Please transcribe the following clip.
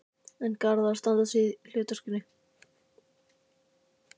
En er Garðar að standa sig í því hlutverki?